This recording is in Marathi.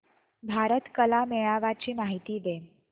भारत कला मेळावा ची माहिती दे